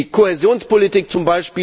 Die Kohäsionspolitik z.